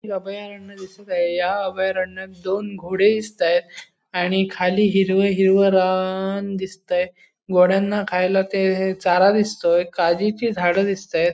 हे अभयारण्य दिसत आहे या अभयारण्यात दोन घोडे दिसताय आणि खाली हिरवं हिरवं रान दिसतंय घोड्यांना खायला ते हे चारा दिसतोय काजीची झाडे दिसताय.